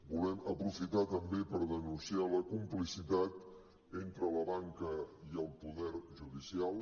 volem aprofitar també per denunciar la complicitat entre la banca i el poder judicial